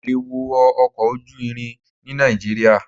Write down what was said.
Mi ò lè wọ ọkọ̀ ojú irin ní Nàìjíríà.